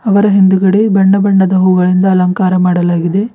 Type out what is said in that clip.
ಅವರ ಹಿಂದುಗಡೆ ಬಣ್ಣ ಬಣ್ಣದ ಹೂಗಳಿಂದ ಅಲಂಕಾರ ಮಾಡಲಾಗಿದೆ.